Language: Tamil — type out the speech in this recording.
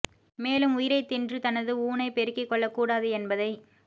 மேலும் உயிரைத் தின்று தனது ஊனை பெருக்கிக் கொள்ளக் கூடாது என்பதை